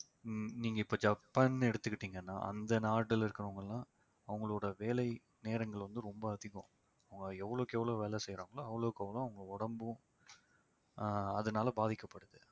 ஹம் நீங்க இப்ப ஜப்பான் எடுத்துக்கிட்டிங்கன்னா அந்த நாடுல இருக்கிறவங்கெல்லாம் அவங்களோட வேலை நேரங்கள் வந்து ரொம்ப அதிகம். அவங்க எவ்வளவுக்கு எவ்வளவு வேலை செய்யறாங்களோ அவ்வளவுக்கு அவ்வளவு அவங்க உடம்பும் ஆஹ் அதனால பாதிக்கப்படுது